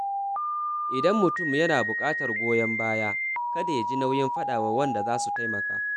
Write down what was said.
Idan mutum yana buƙatar goyon baya, kada ya ji nauyin faɗa wa waɗanda za su taimaka.